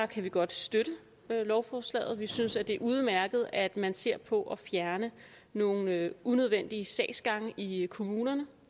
kan vi godt støtte lovforslaget vi synes det er udmærket at man ser på at fjerne nogle unødvendige sagsgange i i kommunerne